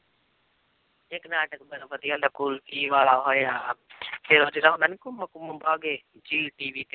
ਇੱਕ ਨਾਟਕ ਬੜਾ ਵਧੀਆ ਸੀ ਕੁਲਫ਼ੀ ਵਾਲਾ ਹੋਇਆ ਫਿਰ ਉਹ ਜਿਹੜਾ ਹੁੰਦਾ ਨੀ Kumkum Bhagya Zee TV ਤੇ